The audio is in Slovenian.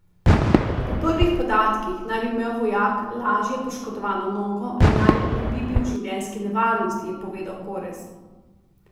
Po prvih podatkih naj bi imel vojak lažje poškodovano nogo in naj ne bi bil v življenjski nevarnosti, je povedal Korez.